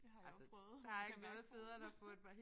Det har jeg også prøvet kan mærke foden